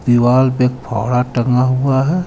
दीवाल पे फौरा टंगा हुआ है.